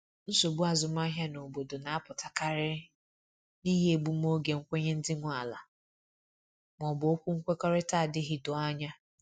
Nsogbu azụmahịa n’obodo na apụta karịrị n'ihi egbum oge nkwenye ndị nwe ala ma ọ bụ okwu nkwekọrịta adịghị doo anya